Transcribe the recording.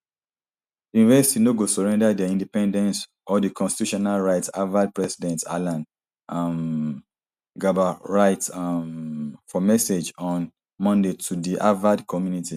di university no go surrender dia independence or di constitutional rights harvard president alan um garber write um for message on monday to di harvard community